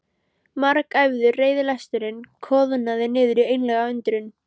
Margæfður reiðilesturinn koðnaði niður í einlæga undrun.